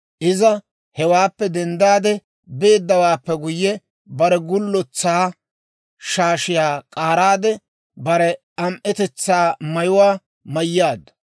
Iza hewaappe denddaade beeddawaappe guyye, bare gullotsaa shaashiyaa k'aaraade, bare am"etetsaa mayuwaa mayyaaddu.